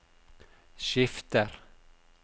skifter